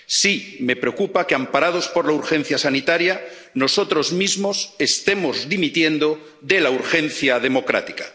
Sí, me preocupa que, amparados por la urgencia sanitaria, nosotros mismos estemos dimitiendo de la urgencia democrática.